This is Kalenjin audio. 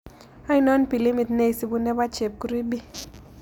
Ainon pilimit nesibuu ne po chepkurui bii